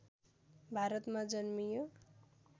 भारतमा जन्मियो